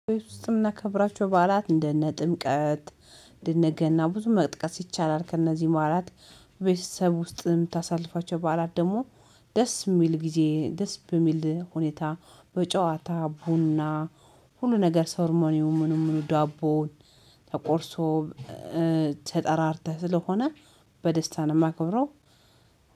ቤት ውስጥ የምናከብራቸው በዓላት እንደነ ጥምቀት እንደነ ገና ብዙ መጥቀስ ይቻላል ከእነዚህ በዓላት። ቤተሰብ ውስጥ የምታሳልፋቸው በዓላት ደግሞ ደስ የሚል ጊዜ ደስ በሚል ሁኔታ በጨዋታ ቡና ሁሉ ነገር ሰርሞኒውም ምኑም ምኑም ዳቦው ተቆርሶ ተጠራርተህ ስለሆነ በደስታ ነው። የማከብረው።